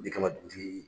Ne kama dugutigi